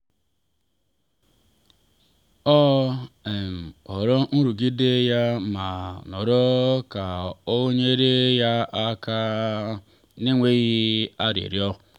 ọ um hụrụ nrụgide ya ma nọrọ ka o nyere ya aka n’enweghị arịrịọ.